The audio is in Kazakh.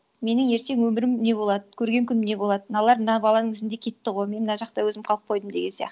менің ертең өмірім не болады көрген күнім не болады мыналар мына баланың ізінде кетті ғой мен мына жақта өзім қалып қойдым деген сияқты